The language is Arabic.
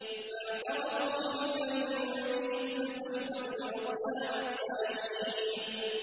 فَاعْتَرَفُوا بِذَنبِهِمْ فَسُحْقًا لِّأَصْحَابِ السَّعِيرِ